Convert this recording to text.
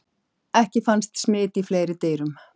Ekki fannst smit í fleiri dýrum.